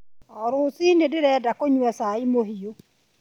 O rũciinĩ, ndĩrenda kũnyua cai mũhiũ.